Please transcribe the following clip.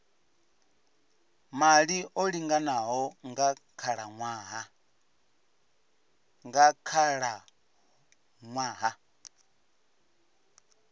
maḓi o linganaho nga khalaṅwaha